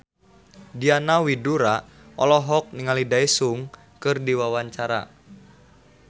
Diana Widoera olohok ningali Daesung keur diwawancara